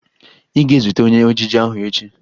Ị ga-ezute onye ejije ahụ echi!